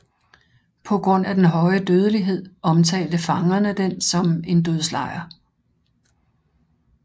På grund af den høje dødelighed omtalte fangerne den som en dødslejr